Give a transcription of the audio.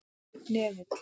Hnefill